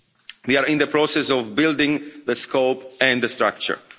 We are in the process of building the scope and the structure.